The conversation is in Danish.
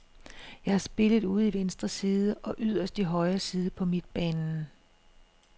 Jeg har spillet ude i venstre side og yderst i højre side på midtbanen.